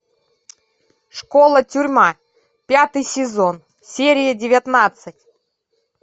школа тюрьма пятый сезон серия девятнадцать